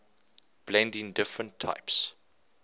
blending different types